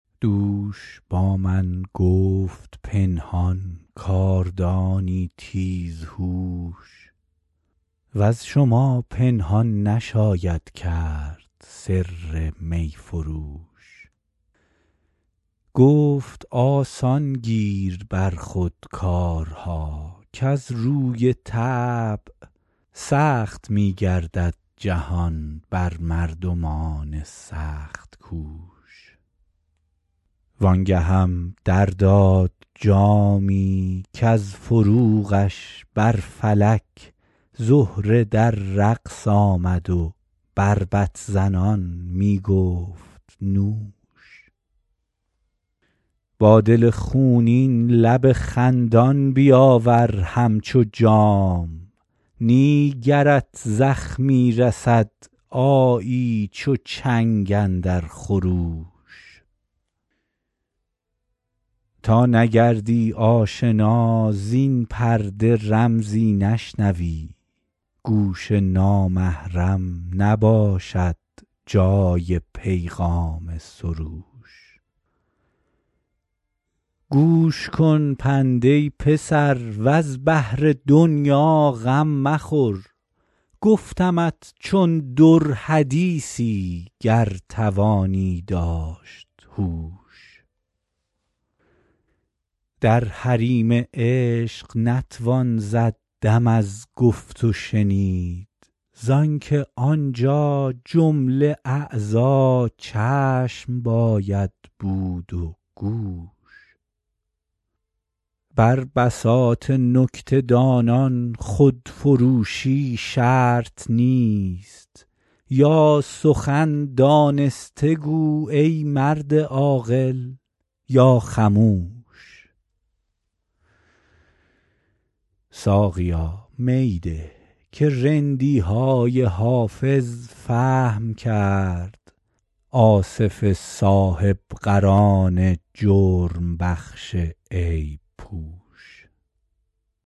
دوش با من گفت پنهان کاردانی تیزهوش وز شما پنهان نشاید کرد سر می فروش گفت آسان گیر بر خود کارها کز روی طبع سخت می گردد جهان بر مردمان سخت کوش وان گهم در داد جامی کز فروغش بر فلک زهره در رقص آمد و بربط زنان می گفت نوش با دل خونین لب خندان بیاور همچو جام نی گرت زخمی رسد آیی چو چنگ اندر خروش تا نگردی آشنا زین پرده رمزی نشنوی گوش نامحرم نباشد جای پیغام سروش گوش کن پند ای پسر وز بهر دنیا غم مخور گفتمت چون در حدیثی گر توانی داشت هوش در حریم عشق نتوان زد دم از گفت و شنید زان که آنجا جمله اعضا چشم باید بود و گوش بر بساط نکته دانان خودفروشی شرط نیست یا سخن دانسته گو ای مرد عاقل یا خموش ساقیا می ده که رندی های حافظ فهم کرد آصف صاحب قران جرم بخش عیب پوش